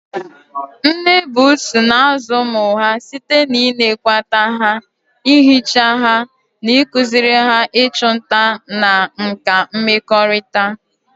Nne buusu na-azụ ụmụ ha site n'ịnekwata ha, ihicha ha, na ịkụziri ha ịchụ nta na nkà mmekọrịta.